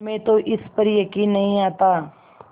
हमें तो इस पर यकीन नहीं आता